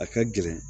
A ka gɛlɛn